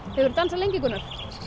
hefurðu dansað lengi Gunnar